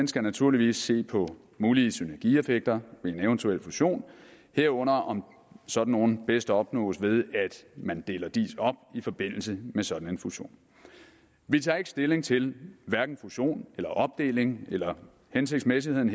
skal naturligvis se på mulige synergieffekter ved en eventuel fusion herunder om sådan nogle bedst opnås ved at man deler diis op i forbindelse med sådan en fusion vi tager ikke stilling til hverken fusion eller opdeling eller hensigtsmæssigheden